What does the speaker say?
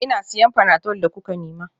Ina siyan panadol da kuka nema